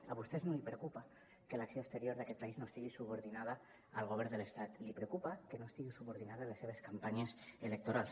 a vostès no els preocupa que l’acció exterior d’aquest país no estigui subordinada al govern de l’estat li preocupa que no estigui subordinada a les seves campanyes electorals